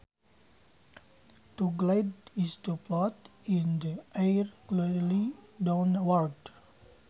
To glide is to float in the air gradually downwards